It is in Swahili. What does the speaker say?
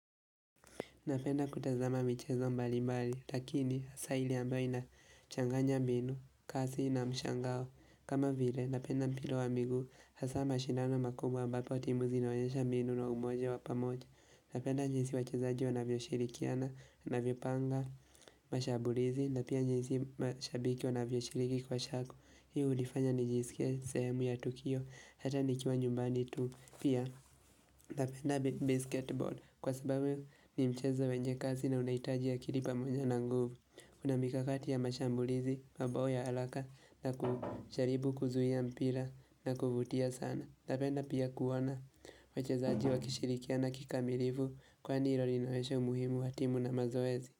Napenda kutazama michezo mbali mbali, lakini hasa ili ambayo ina changanya mbinu, kasi ina mshangao. Kama vile, napenda mpira wa miguu, hasa mashindano makubwa ambapa timuzi onawayesha mbinu na umoja wapamoja. Napenda jinsi wachezaji wanavyo shirikiana, wanavyo panga, mashabulizi, napia jinsi mashabiki wanavyo shiriki kwa shaku. Hiu hudifanya nijisikia sehemu ya tukio, hata nikiwa nyumbani tu. Pia napenda basketball kwa sababu ni mchezo wenye kasi na unaitajia akili pamoja na nguvu Kuna mikakati ya mashambulizi, mabao ya halaka na kusharibu kuzuhia mpila na kuvutia sana napenda pia kuona wachezaaji wakishirikia na kikamilivu kwa hindi ilo ninaweshe umuhimu hatimu na mazoezi.